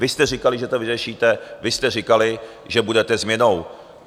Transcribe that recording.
Vy jste říkali, že to vyřešíte, vy jste říkali, že budete změnou.